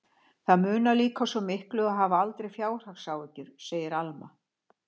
Það munar líka svo miklu að hafa aldrei fjárhagsáhyggjur, segir Alma.